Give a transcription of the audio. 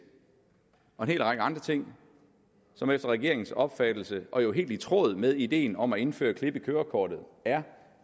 og en hel række andre ting som efter regeringens opfattelse og jo helt i tråd med ideen om at indføre klip i kørekortet er